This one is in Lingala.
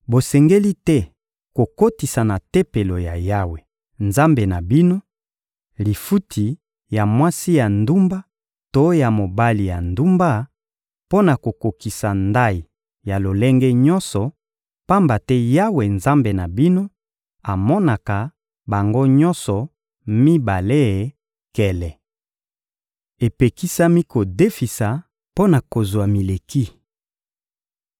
Bosengeli te kokotisa na Tempelo ya Yawe, Nzambe na bino, lifuti ya mwasi ya ndumba to ya mobali ya ndumba, mpo na kokokisa ndayi ya lolenge nyonso, pamba te Yawe, Nzambe na bino, amonaka bango nyonso mibale nkele. Epekisami kodefisa mpo na kozwa mileki